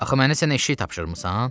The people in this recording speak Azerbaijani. Axı mənə sən eşşək tapşırmısan?